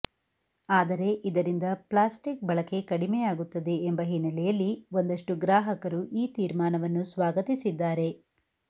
ಆದರೆ ಇದರಿಂದ ಪ್ಲಾಸ್ಟಿಕ್ ಬಳಕೆ ಕಡಿಮೆಯಾಗುತ್ತದೆ ಎಂಬ ಹಿನ್ನೆಲೆಯಲ್ಲಿ ಒಂದಷ್ಟು ಗ್ರಾಹಕರು ಈ ತೀರ್ಮಾನವನ್ನು ಸ್ವಾಗತಿಸಿದ್ದಾರೆ